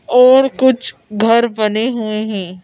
और कुछ घर बने हुए हैं।